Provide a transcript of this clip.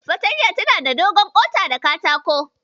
Fartanya tana da dogon ƙota ta katako.